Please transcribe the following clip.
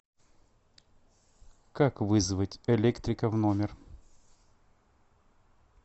как вызвать электрика в номер